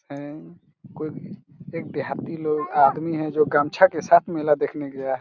हैं कुछ एक देहाती लोग का आदमी हैं जो गमछा के साथ मेला देखने गया हैं।